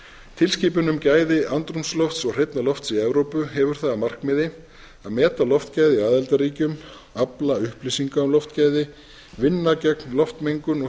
tilskipun um gæði andrúmslofts og hreinna loft í evrópu hefur það að markmiði að meta loftgæði í aðildarríkjum afla upplýsinga um loftgæði vinna gegn loftmengun og skaða af